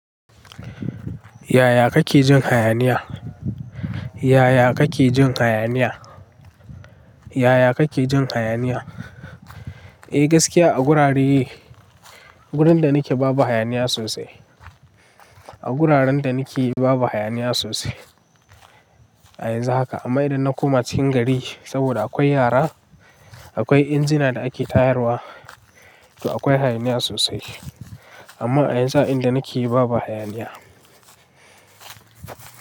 Yaya kake jin hayaniya? Yaya kake jin hayaniya? Yaya kake jin hayaniya? Eh gaskiya a gurare, wurin da nake babu hayaniya sosai. A guraren da nake babu hayaniya sosai. A yanzu haka amma idan na koma cikin gari saboda akwai yara, akwai injina da ake tayarwa, to akwai hayaniya sosai. Amma a yanzu a inda nake babu hayaniya.